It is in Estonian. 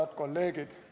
Head kolleegid!